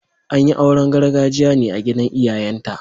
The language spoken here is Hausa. An yi auren gargajiya ne a gidan iyayenta.